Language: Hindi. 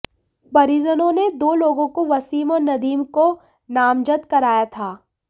परिजनों ने दो लोगों वसीम और नदीम को नामजद कराया था